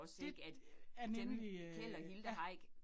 Det øh er nemlig øh ja